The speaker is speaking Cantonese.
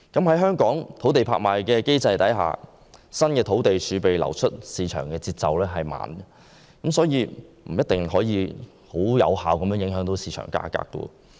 在香港的土地拍賣機制下，新土地儲備流出市場的節奏緩慢，所以不一定能有效影響市場價格。